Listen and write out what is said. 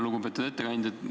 Lugupeetud ettekandja!